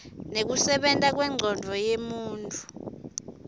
nekusebenta kwencondvo yemuntfu